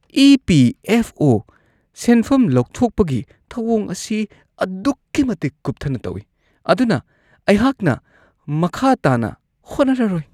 ꯏ.ꯄꯤ.ꯑꯦꯐ.ꯑꯣ.ꯒꯤ ꯁꯦꯟꯐꯝ ꯂꯧꯊꯣꯛꯄꯒꯤ ꯊꯧꯋꯣꯡ ꯑꯁꯤ ꯑꯗꯨꯛꯀꯤ ꯃꯇꯤꯛ ꯀꯨꯞꯊꯅ ꯇꯧꯢ ꯑꯗꯨꯅ ꯑꯩꯍꯥꯛꯅ ꯃꯈꯥ ꯇꯥꯅ ꯍꯣꯠꯅꯔꯔꯣꯏ ꯫